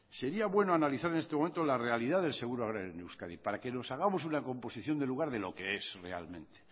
sería bueno analizar en este momento la realidad del seguro agrario en euskadi para que nos hagamos una composición de lugar de lo que es realmente